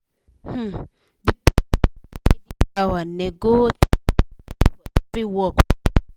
um the person wey da tidy flower nego ten percent for every work wey she run